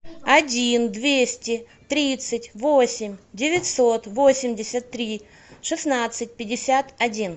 один двести тридцать восемь девятьсот восемьдесят три шестнадцать пятьдесят один